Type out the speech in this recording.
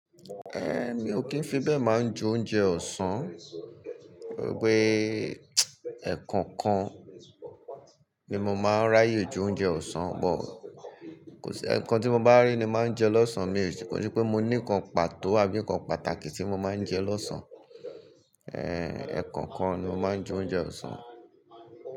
Ehn, mi ò kí ń fi bẹ́ẹ̀ máa ń jẹ oúnjẹ ọ̀sán. Gbogbo ẹ̀ kọ̀ọ̀kan ni mo máa ń ráyè jẹ oúnjẹ ọ̀sán. But, ẹ̀ kan tí mo bá rí ni máa ń jẹ lọ́sàn án. Mi ò ní pé mo ní ǹkan pàtó àbí ǹkan pàtàkì tí mo máa ń jẹ lọ́sàn án. Ehn, ẹ̀ kọ̀ọ̀kan ni mo máa ń jẹ oúnjẹ ọ̀sán.